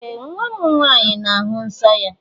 Ee! Nwa m nwaanyị na-ahụ nsọ́ ya.